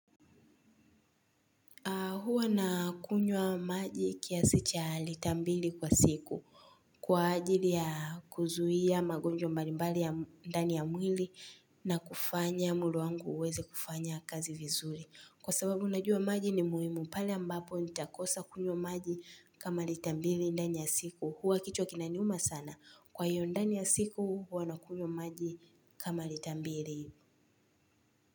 Huwa na kunywa maji kiasi cha lita mbili kwa siku. Kwa ajili ya kuzuia magonjwa mbalimbali ya ndani ya mwili na kufanya mwili wangu uweze kufanya kazi vizuri. Kwa sababu unajua maji ni muhimu pale ambapo nitakosa kunywa maji kama lita mbili ndani ya siku. Huwa kichwa kinaniuma sana. Kwa hiyo ndani ya siku huwa na kunywa maji kama lita mbili.